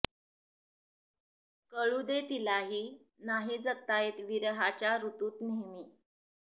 कळू दे तिलाही नाही जगता येत विरहाच्या ऋतूत नेहमी